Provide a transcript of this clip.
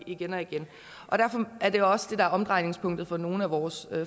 igen og igen derfor er det også det der er omdrejningspunktet for nogle af vores